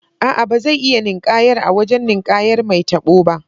A'a, ba zai iya ninƙayar a wajen ninƙayar mai tabo ba.